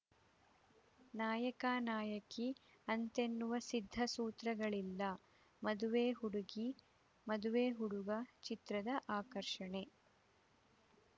ನಾಯಕನಾಯಕಿ ಅಂತೆನ್ನುವ ಸಿದ್ಧ ಸೂತ್ರಗಳಿಂದ ಮದುವೆ ಹುಡುಗಿ ಮದುವೆ ಹುಡುಗ ಚಿತ್ರದ ಆಕರ್ಷಣೆ